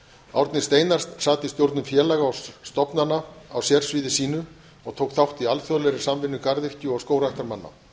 árni steinar sat í stjórnum félaga og stofnana á sérsviði sínu og tók þátt í alþjóðlegri samvinnu garðyrkju og skógræktarmanna